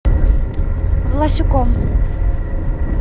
власюком